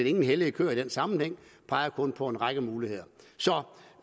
ingen hellige køer i den sammenhæng vi peger kun på en række muligheder